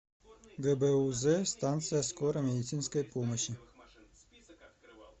гбуз станция скорой медицинской помощи